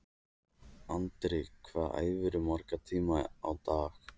Andri: Hvað æfirðu marga tíma á dag?